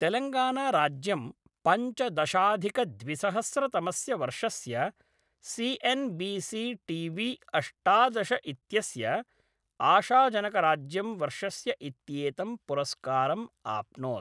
तेलङ्गानाराज्यं पञ्चदशाधिकद्विसहस्रतमस्य वर्षस्य C N B C T V अष्टादश इत्यस्य आशाजनकराज्यं वर्षस्य इत्येतं पुरस्कारम् आप्नोत्।